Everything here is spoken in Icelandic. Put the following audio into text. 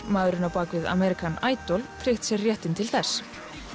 maðurinn á bak við American Idol tryggt sér réttinn til þess